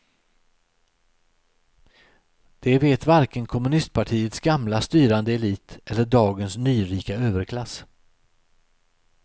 Det vet varken kommunistpartiets gamla styrande elit eller dagens nyrika överklass.